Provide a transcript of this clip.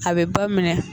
A bɛ ba minɛ